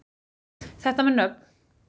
Þetta með nöfn